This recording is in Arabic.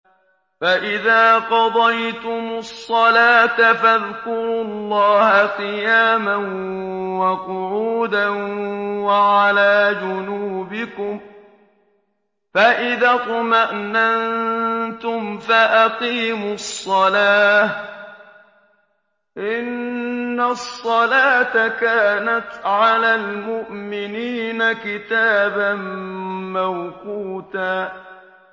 فَإِذَا قَضَيْتُمُ الصَّلَاةَ فَاذْكُرُوا اللَّهَ قِيَامًا وَقُعُودًا وَعَلَىٰ جُنُوبِكُمْ ۚ فَإِذَا اطْمَأْنَنتُمْ فَأَقِيمُوا الصَّلَاةَ ۚ إِنَّ الصَّلَاةَ كَانَتْ عَلَى الْمُؤْمِنِينَ كِتَابًا مَّوْقُوتًا